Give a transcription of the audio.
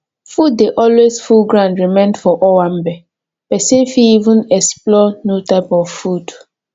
food dey alway full ground remain for owanbe person fit even explore new type of food